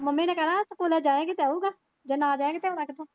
Mummy ਨੇ ਕਹਿਣਾ ਸਕੂਲੇ ਜਾਏਗੀ ਤਾਂ ਆਊਗਾ ਜੇ ਨਹੀਂ ਜਾਏਗੀ ਤਾਂ ਆਉਣਾ ਕਿੱਥੋਂ।